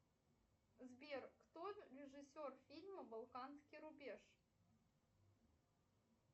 сбер кто режиссер фильма балканский рубеж